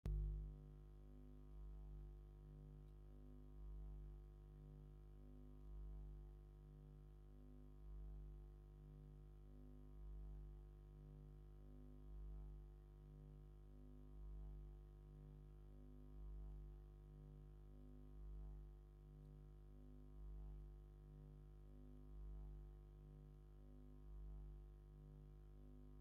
ኣገዳሲ ኣርማ! እዚ ኣርማ ሚኒስትሪ ትምህርቲ ምዃኑ ዘርኢ እዩ።:ኣብ ማእከል ክፉት መጽሓፍ ኣሎ።:ኣብ ልዕሊኡ ድማ ብኣምሓርኛ "ሚኒስትሪ ትምህርቲ" ተጻሒፉ ኣሎ።:ኣብ ታሕቲ ብትግርኛ "MINISTRY OF EDUCATION" ተጻሒፉ ኣሎ።:እዚ ኣዝዩ ትርጉም ዘለዎን ኣነቓቓሕን ኣርማ እዩ!